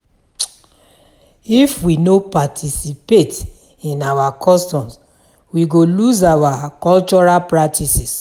If we no participate in our customs, we go lose our cultural practices.